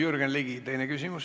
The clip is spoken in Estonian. Jürgen Ligi, teine küsimus.